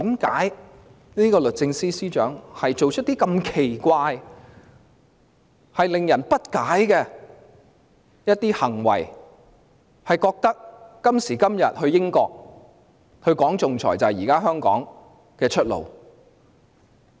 為何律政司司長做出如此奇怪和費解的行為，認為今時今日去英國談論仲裁是香港的出路？